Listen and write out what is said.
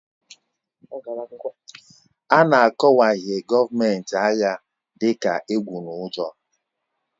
A na-akọwahie gọọmenti agha dị ka egwu na ụjọ